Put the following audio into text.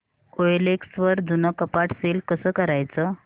OLX वर जुनं कपाट सेल कसं करायचं